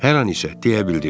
Hər an isə deyə bildirdi.